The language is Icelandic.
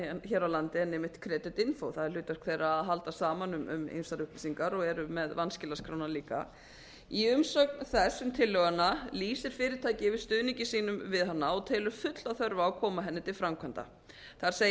hér á landi en einmitt creditinfo það er hlutverk þeirra að halda saman um ýmsar upplýsingar og eru með vanskilaskrána líka í umsögn þess um tillöguna lýsir fyrirtækið yfir stuðningi sínum við hana og telur fulla þörf á að koma henni til framkvæmda þar segir meðal annars